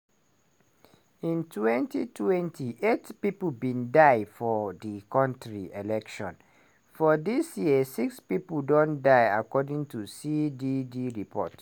in 2020 8 pipo bin die for di kontris elections - for dis year 6 pipo don die according to cdd report.